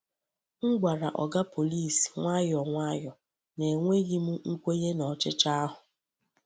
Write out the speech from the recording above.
M gwara Oga Pọlịs nwayọọ nwayọọ na enweghị m nkwenye na ọchịchọ ahụ.